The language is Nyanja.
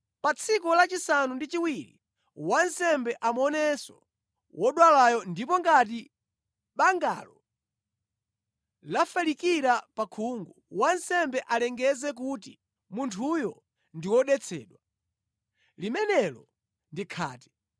Pa tsiku lachisanu ndi chiwiri wansembe amuonenso wodwalayo, ndipo ngati bangalo lafalikira pa khungu, wansembe alengeze kuti munthuyo ndi wodetsedwa. Limenelo ndi khate.